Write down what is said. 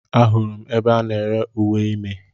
Ahụrụ m ebe a na-ere uwe ime